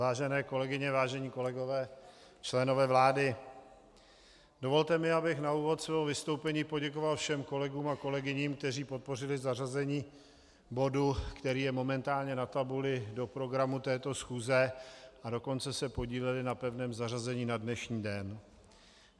Vážené kolegyně, vážení kolegové, členové vlády, dovolte mi, abych na úvod svého vystoupení poděkoval všem kolegům a kolegyním, kteří podpořili zařazení bodu, který je momentálně na tabuli, do programu této schůze, a dokonce se podíleli na pevném zařazení na dnešní den.